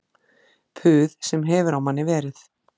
Puð sem hefur á manni verið